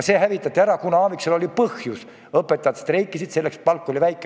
See hävitati ära, kuna Aaviksool oli põhjus: õpetajad streikisid, sest palk oli väike.